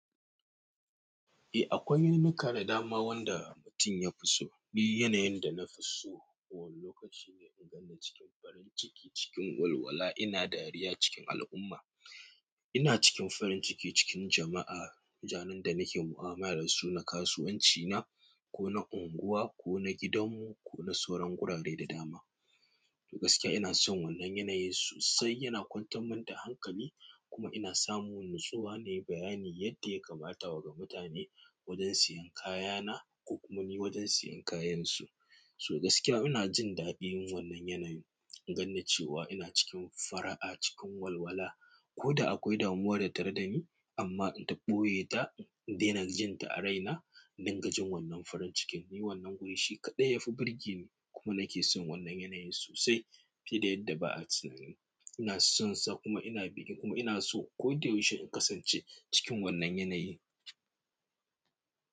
Eh akwai yanuka da dama wanda mutum ya fi so. Ni yanayin da na fi so, wani lokaci nafi na ganni cikin farin ciki, cikin walwala ina dariya cikin al'umma. Ina cikin farin ciki cikin jama'a, ranan da nake mu'amala da su na kasuwanci na, ko na unguwa, ko na gidanmu, ko na sauran gurare da dama. Gaskiya inason wannan yanayin sosai, yana kwantarmun da hankali kuma ina samun nutsuwa nayi bayani yadda ya kamata ga mutane wajen siyan kayana, ko kuma ni wajen siyan kayansu. To gaskiya ina jin daɗin wannan yanayin, in ganni cewa ina cikin fara'a, cikin walwala. Ko da akwai damuwa tattare dani amma inta ɓoye ta, in daina jinta a raina, in dinga jin wannan farin cikin. Ni wannan guri shi kaɗai ya fi burge ni kuma nake son wannan yanayin sosai fiye da yadda ba'a tunani. Ina sonsa kuma ina bikin kuma ina so koyaushe in kasance cikin wannan yanayi.